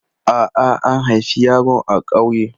A'a, an haifi yaron a ƙauye.